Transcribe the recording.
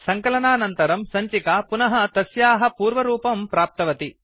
सङ्कलनानन्तरं सञ्चिका पुनः तस्याः पूर्वरूपं प्राप्तवती